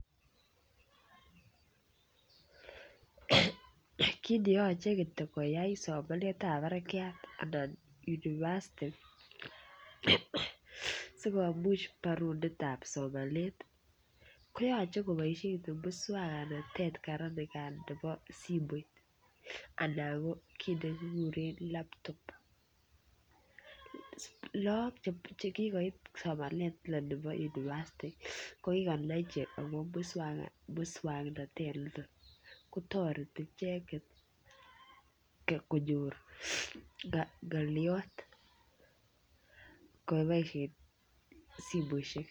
Kit neyoche kityok koyai somanet ab barakiat anan university sikomuch borundit ab somanet koyoche koboisien muswongnotet kora nikan nebo simoit anan ko kit nekikuren laptop look chekikoit somanet nebo university ko kikonai ichek akobo muswongnotet niton kotoreti icheket konyor ng'olyot ngeboisyen simoisiek